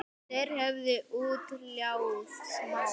Þeir höfðu útkljáð málið.